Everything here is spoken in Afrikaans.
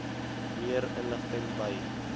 meer inligting by